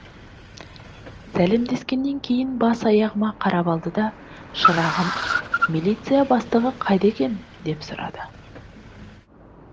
сәлемдескеннен кейін бас аяғыма қарап алды да шырағым милиция бастығы қайда екен деп сұрады